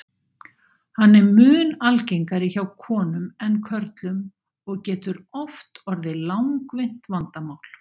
Hann er mun algengari hjá konum en körlum og getur oft orðið langvinnt vandamál.